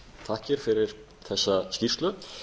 þakkir fyrir þessa skýrslu